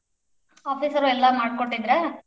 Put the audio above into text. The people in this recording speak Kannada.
Office ಅವ್ರ್ ಎಲ್ಲಾ ಮಾಡಿ ಕೊಟ್ಟಿದ್ರ್.